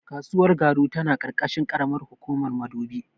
Kasuwar Garu tana ƙarƙashin ƙaramar hukumar Madobi.